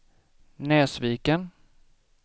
Näsviken